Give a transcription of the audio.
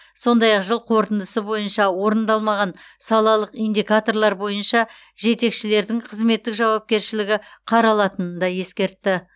сондай ақ жыл қорытындысы бойынша орындалмаған салалық индикаторлар бойынша жетекшілердің қызметтік жауапкершілігі қаралатынын да ескертті